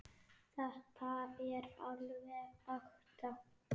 Þetta er alveg ekta.